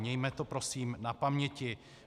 Mějme to prosím na paměti.